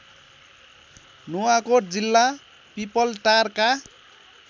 नुवाकोट जिल्ला पिपलटारका